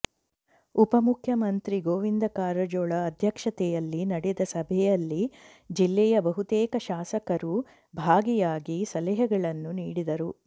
ಉಪ ಮುಖ್ಯಮಂತ್ರಿ ಗೋವಿಂದ ಕಾರಜೋಳ ಅಧ್ಯಕ್ಷತೆಯಲ್ಲಿ ನಡೆದ ಸಭೆಯಲ್ಲಿ ಜಿಲ್ಲೆಯ ಬಹುತೇಕ ಶಾಸಕರು ಭಾಗಿಯಾಗಿ ಸಲಹೆಗಳನ್ನು ನೀಡಿದರು